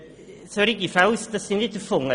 Solche Fälle sind nicht erfunden;